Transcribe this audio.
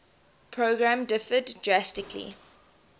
program differed drastically